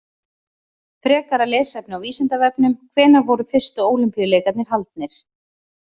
Frekara lesefni á Vísindavefnum: Hvenær voru fyrstu Ólympíuleikarnir haldnir?